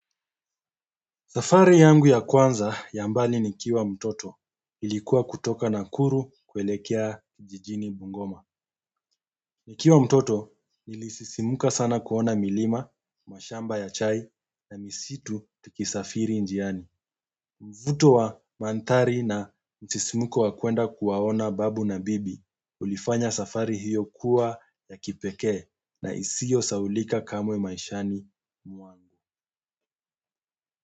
Safari yangu ya kwanza ya mbali nikiwa mtoto ilikuwa kutoka Nakuru kuelekea jijini Bungoma. Nikiwa mtoto nilisisimka sana kuona milima mashamba ya chai na misitu tukisafiri njiani mvuto wa manthari na msisimuko wa kwenda kuwaona babu na bibi ulifanya safari hiyo kuwa ya kipeke na isiyo saulika kamwe maishani mwangu.